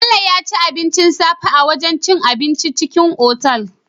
Bello yaci abincin safe a wajan cin abinci na cikin otal